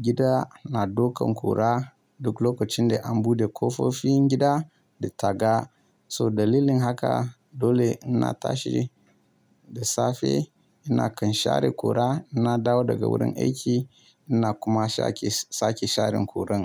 gida na daukan kura duk lokacin da an buɗe ƙofofin gida da taga. So dalilin haka dole in na tashi da safe ina kan share kura, in na dawo daga wurin aiki ina kuma shake sake sharen kuran.